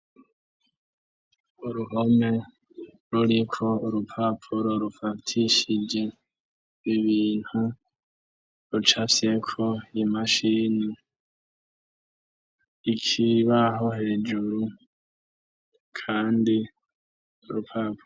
uruhome ruriko urupapuro rufatishije ibintu rucafyeko imashini ikibaho hejuru kandi urupapuro